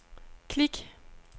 klik